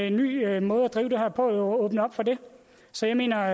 en ny måde at drive det her på jo åbne op for det så jeg mener